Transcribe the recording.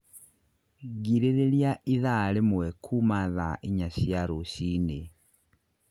Girĩrĩria ĩthaa rĩmwe kuuma thaa inya cia rũciũ rũcinĩ